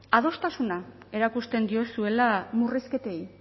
adostasuna erakusten diozuela murrizketei